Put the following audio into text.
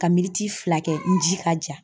Ka miniti fila kɛ i ji ka ja.